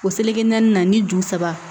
O naani na ni ju saba